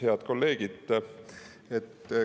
Head kolleegid!